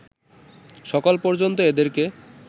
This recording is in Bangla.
সকাল পর্যন্ত এদেরকে